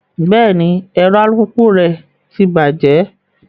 Bẹẹni, ẹrọ alupupu rẹ tí bajẹ